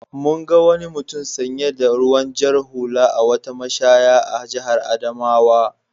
Mun ga wani mutum sanye da ruwan jar hula a wata mashaya a jihar Adamawa.